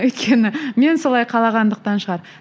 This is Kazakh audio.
өйткені мен солай қалағандықтан шығар